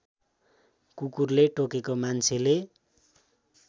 कुकुरले टोकेको मान्छेले